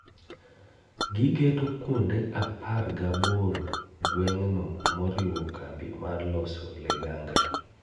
Gigeto kuonde apar gaboro gweng'no moriwo kambi mar loso ligangla